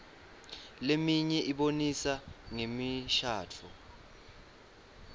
leminye ibonisa ngemishadvo